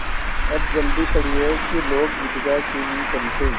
अब जल्दी पड़ी है कि लोग ईदगाह क्यों नहीं चलते